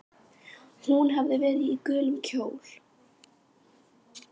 Hún hafði verið í gulum kjól.